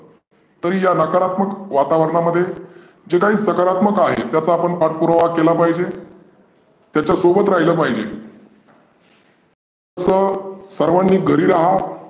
या नकारात्मक वातावरणामध्ये जे काही सकारात्मक आहे त्याचा आपण पाठपुरावा केला पाहीजे. त्याच्या सोबत राहीले पाहीजे तर सर्वांनी घरी रहा.